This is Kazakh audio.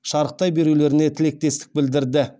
шарықтай берулеріне тілектестік білдірді